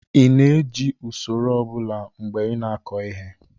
ị na-eji usoro ọ bụla mgbe ị na-akọ ihe?